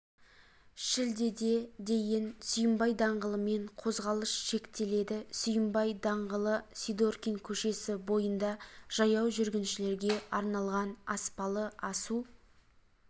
шілдеде дейін сүйінбай даңғылымен қозғалыс шектеледі сүйінбай д-лы сидоркина к-сі бойында жаяу жүргіншілерге арналған аспалы асу